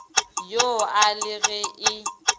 yo a le ge e